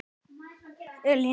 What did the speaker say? Elín Lóa.